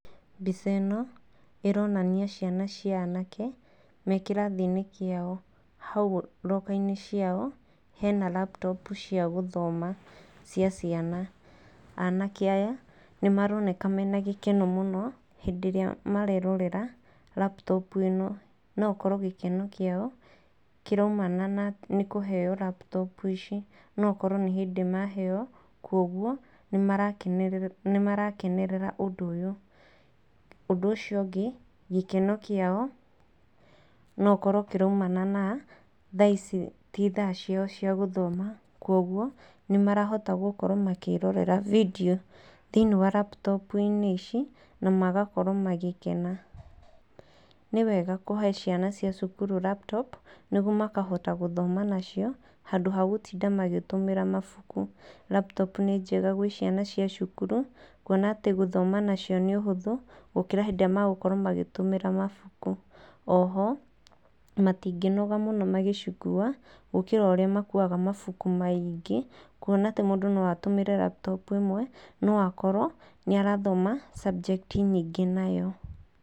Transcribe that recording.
Mbica ĩno ĩronania ciana cia anake me kĩrathi-inĩ kĩao. Hau roka-inĩ ciao hena laputopu cia gũthoma cia ciana. Anake aya nĩmaroneka mena gĩkeno mũno hĩndĩ ĩrĩa marerorera laputopu ĩno. No gũkorwo gĩkeno kĩao kĩraumana na kũheo laputopu ici. No ũkorwo nĩ hĩndĩ maheo koguo nĩmarakenerera ũndũ ũyũ. Ũndũ ũcio ũngĩ gĩkeno kĩao nogĩkorwo kĩraumana na thaa ici ti thaa ciao cia gũthoma koguo nĩmahota gũkorwo makĩĩrorera bindio thĩinĩ wa laputopu-inĩ ici na magakorwo magĩkena. Nĩ wega kũhe ciana cia cukuru laputopu nĩguo makahota gũthoma nacio handũ ha gũtinda magĩtũmĩra mabuku. Laputopu nĩ njega gwĩ ciana cia cukuru kuona atĩ gũthoma nacio nĩ ũhũthũ gũkĩra rĩrĩa marahũthĩra mabuku. Oho matingĩnoga mũno magĩcikua gũkĩra ũrĩa makuaga mabuku maingĩ. Kuona mũndũ no atũmĩre laputopu ĩmwe no akorwo nĩarathoma subject nyingĩ nayo.